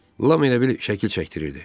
Lam elə bil şəkil çəkdirirdi.